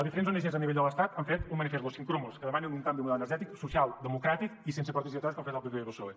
diferents ongs a nivell de l’estat han fet un manifest los sin cromos en què demanen un canvi de model energètic social democràtic i sense portes giratòries com han fet el pp i el psoe